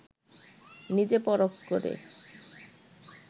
নিজে পরখ করে